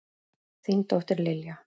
Þín dóttir, Lilja.